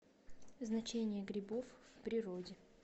значения грибов в природе